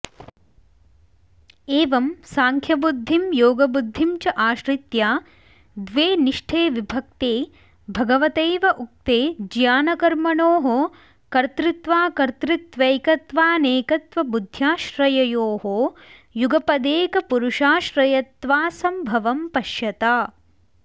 एवं सांख्यबुद्धिं योगबुद्धिं च आश्रित्य द्वे निष्ठे विभक्ते भगवतैव उक्ते ज्ञानकर्मणोः कर्तृत्वाकर्तृत्वैकत्वानेकत्वबुद्ध्याश्रययोः युगपदेकपुरुषाश्रयत्वासंभवं पश्यता